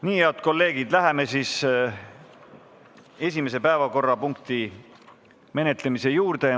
Nii, head kolleegid, läheme esimese päevakorrapunkti menetlemise juurde.